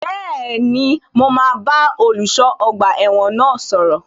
Bẹ́ẹ̀ni, mo máa bá olùṣọ́ ọgbà ẹ̀wọ̀n náà sọ̀rọ̀